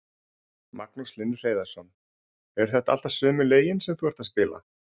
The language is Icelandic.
Magnús Hlynur Hreiðarsson: Eru þetta alltaf sömu lögin sem þú ert að spila?